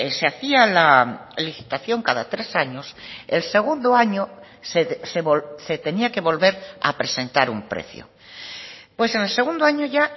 se hacía la licitación cada tres años el segundo año se tenía que volver a presentar un precio pues en el segundo año ya